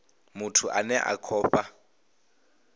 muthu ane a khou fha